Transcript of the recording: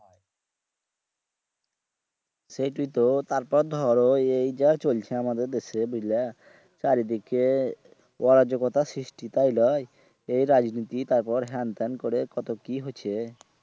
সেইটোই তো তারপর ধরো এই যা চলছে আমাদের দেশে বুজলা চারি দিকে অরাজগতার সৃষ্টি তাই লয় এই রাজনীতি তার পর হ্যান ত্যান করে কত কি হচ্ছে